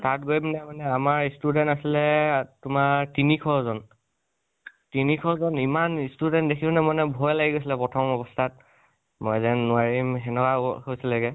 তাত গৈ পিনে মানে আমাৰ student আছিলে তোমাৰ তিনিশ জন। তিনিশ জন ইমান student দেখি পিনে মানে ভয় লাগি গৈছিলে প্ৰথম অৱস্তাত। মই যেন নোৱাৰিম সেনেকোৱা হৈছিলেগে